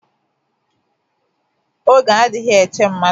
Oge adịghị eche mmadu